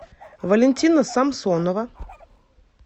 валентина самсонова